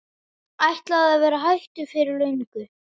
Ætlaði að vera hættur fyrir löngu.